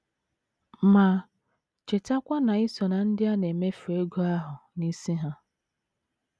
Ma, chetakwa na i so ná ndị a na - emefu ego ahụ n’isi ha.